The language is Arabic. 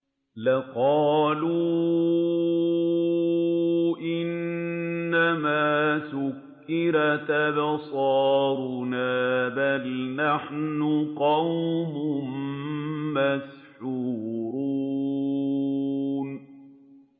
لَقَالُوا إِنَّمَا سُكِّرَتْ أَبْصَارُنَا بَلْ نَحْنُ قَوْمٌ مَّسْحُورُونَ